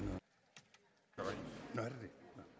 da